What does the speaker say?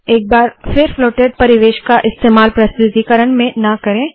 एक बार फिर फ्लोटेड परिवेश का इस्तेमाल प्रस्तुतीकरण में ना करे